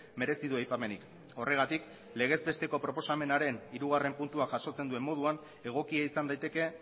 merezi du aipamenik horregatik legezbesteko proposamenaren hirugarren puntua jasotzen duen moduan egokia izan daiteke